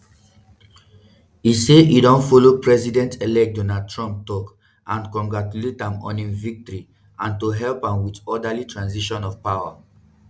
e say e don follow president-elect donald trump tok and congratulate am on im victory and to help am wit orderly transition of power.